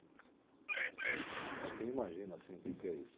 Para quem imagina assim o que que é isso.